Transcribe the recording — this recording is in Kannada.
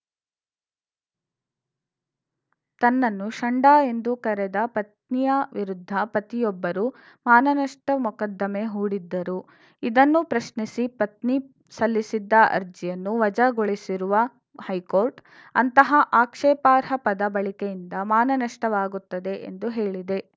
ತನ್ನನ್ನು ಷಂಡ ಎಂದು ಕರೆದ ಪತ್ನಿಯ ವಿರುದ್ಧ ಪತಿಯೊಬ್ಬರು ಮಾನನಷ್ಟಮೊಕದ್ದಮೆ ಹೂಡಿದ್ದರು ಇದನ್ನು ಪ್ರಶ್ನಿಸಿ ಪತ್ನಿ ಸಲ್ಲಿಸಿದ್ದ ಅರ್ಜಿಯನ್ನು ವಜಾಗೊಳಿಸಿರುವ ಹೈಕೋರ್ಟ್‌ ಅಂತಹ ಆಕ್ಷೇಪಾರ್ಹ ಪದ ಬಳಕೆಯಿಂದ ಮಾನನಷ್ಟವಾಗುತ್ತದೆ ಎಂದು ಹೇಳಿದೆ